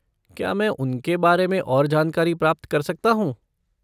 क्या मैं उनके बारे में और जानकारी प्राप्त कर सकता हूँ?